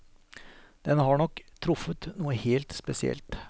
Den har nok truffet noe helt spesielt.